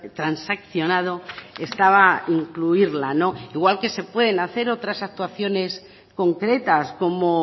transaccionado estaba incluirla igual que se puede hacer otras actuaciones concretas como